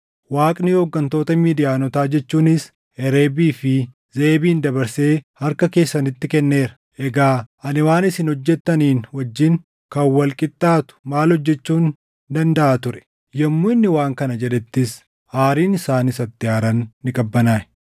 Waaqni hooggantoota Midiyaanotaa jechuunis Hereebii fi Zeʼeebin dabarsee harka keessanitti kenneera. Egaa ani waan isin hojjettaniin wajjin kan wal qixxaatu maal hojjechuun dandaʼa ture?” Yommuu inni waan kana jedhettis aariin isaan isatti aaran ni qabbanaaʼe.